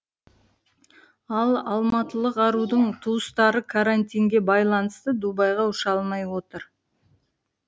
ал алматылық арудың туыстары карантинге байланысты дубайға ұша алмай отыр